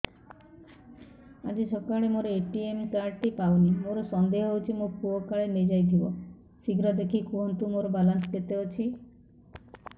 ଆଜି ସକାଳେ ମୋର ଏ.ଟି.ଏମ୍ କାର୍ଡ ଟି ପାଉନି ମୋର ସନ୍ଦେହ ହଉଚି ମୋ ପୁଅ କାଳେ ନେଇଯାଇଥିବ ଶୀଘ୍ର ଦେଖି କୁହନ୍ତୁ ମୋର ବାଲାନ୍ସ କେତେ ଅଛି